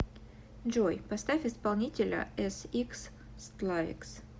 джой поставь исполнителя эсиксстлавикс